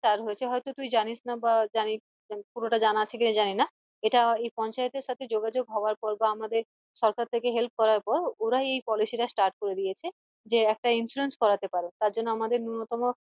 Start হয়েছে হয়তো তুই জানিস না বা জানিস পুরোটা জানা আছে কি জানিনা এটা এই পঞ্চায়েত এর সাথে যোগাযোগ হওয়ার পর পর বা আমাদের সরকার থেকে help করার পর ওরাই এই policy টা start করে দিয়েছে যে একটা insurance করাতে পারো তার জন্য আমাদের নূন্যতম